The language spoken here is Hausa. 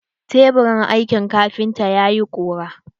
Teburin aikin kafintan yayi ƙura.